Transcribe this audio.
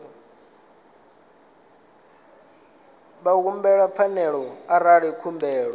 vha humbele pfarelo arali khumbelo